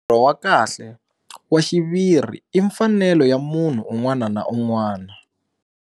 Ntirho wa kahle, wa xiviri i mfanelo ya munhu un'wana na un'wana.